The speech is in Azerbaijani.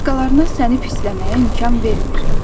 Başqalarına səni pisləməyə imkan vermir.